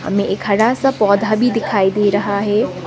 हमें एक हरा सा पौधा भी दिखाई दे रहा है।